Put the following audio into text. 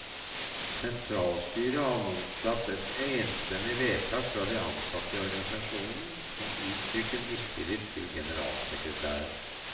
Sentralstyret har mottatt et enstemmig vedtak fra de ansatte i organisasjonen, som uttrykker mistillit til generalsekretæren.